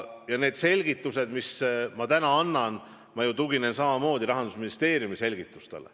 Ja nendes selgitustes, mis ma täna annan, ma ju tuginen samamoodi Rahandusministeeriumile.